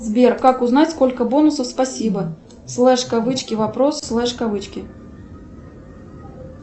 сбер как узнать сколько бонусов спасибо слэш кавычки вопрос слэш кавычки